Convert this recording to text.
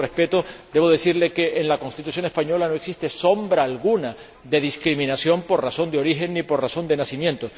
Con todo el respeto, debo decirle que en la Constitución española no existe sombra alguna de discriminación por razón de origen ni por razón de nacimiento.